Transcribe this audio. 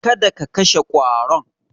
Kada ka kashe ƙwaron.